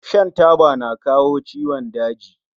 Shan taba yana kawo ciwon daji